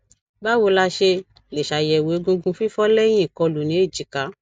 báwo la ṣe lè ṣàyẹwò egungun fifo leyin ikolu ní èjìká